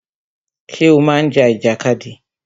Ṣé o má ń ja ìjàkadì?